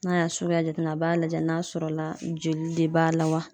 N'a y'a suguya jateminɛ a b'a lajɛ n'a sɔrɔla joli de b'a la wa.